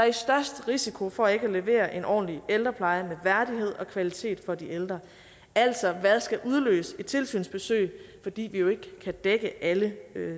i størst risiko for ikke at levere en ordentlig ældrepleje med værdighed og kvalitet for de ældre altså hvad der skal udløse et tilsynsbesøg fordi vi jo ikke kan dække alle